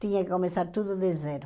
Tinha que começar tudo de zero.